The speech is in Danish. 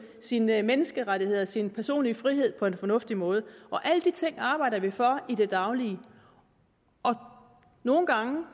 sine menneskerettigheder og sin personlige frihed på en fornuftig måde alle de ting arbejder vi for i det daglige nogle gange